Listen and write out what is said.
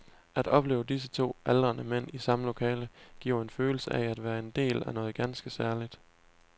At opleve disse to aldrende mænd i samme lokale giver en følelse af at være en del af noget ganske særligt.